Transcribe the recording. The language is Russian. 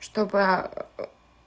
чтобы